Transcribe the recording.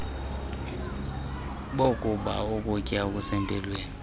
bokuba ukutya okusempilweni